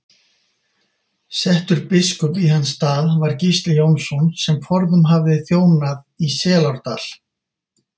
Settur biskup í hans stað var Gísli Jónsson sem forðum hafði þjónað í Selárdal.